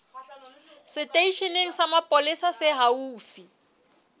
seteisheneng sa mapolesa se haufi